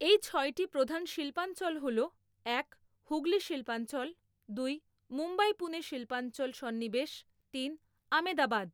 এই ছয়টি প্রধান শিল্পাঞ্চল হল এক। হুগলি শিল্পাঞ্চল দুই। মুম্বই পুণে শিল্পাঞ্চল সন্নিবেশ তিন। আমেদাবাদ